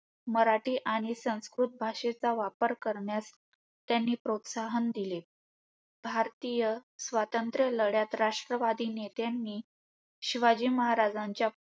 मराठी आणि संस्कृत भाषेचा वापर करण्यास त्यांनी प्रोत्साहन दिले. भारतीय स्वतंत्रलढ्यात राष्ट्रवादी नेत्यांनी, शिवाजी महाराजांच्या